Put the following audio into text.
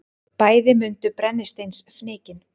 Bæði mundu brennisteinsfnykinn.